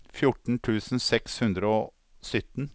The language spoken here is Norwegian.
fjorten tusen seks hundre og sytten